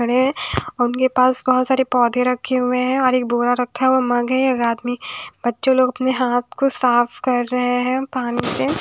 उनके पास बहोत सारे पौधे रखे हुए हैं और एक बोरा रखा हुआ है एक आदमी बच्चे लोग अपने हाथ को साफ कर रहे हैं पानी से--